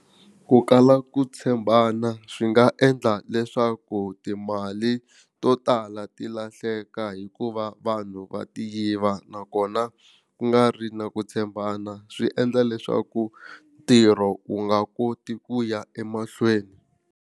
Ku kala ku tshembana swi nga endla leswaku timali to tala ti lahleka hikuva vanhu va ti yiva nakona ku nga ri na ku tshembana swi endla leswaku ntirho wu nga koti ku ya emahlweni.